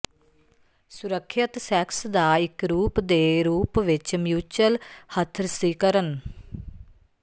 ਸੁਰੱਖਿਅਤ ਸੈਕਸ ਦਾ ਇੱਕ ਰੂਪ ਦੇ ਰੂਪ ਵਿੱਚ ਮਿਊਚਲ ਹਥਰਸੀਕਰਨ